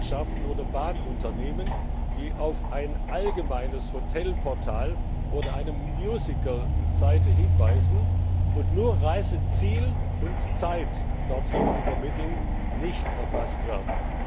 Fluggesellschaften oder Bahnunternehmen, die auf ein allgemeines Hotelportal oder eine Musical Seite hinweisen und nur Reiseziel und zeit dorthin übermitteln, nicht erfasst werden.